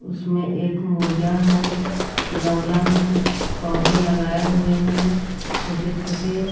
उसमें एक मुर्गा है गमला में कुछ पौधे लगाए हुए हैं छोटे छोटे।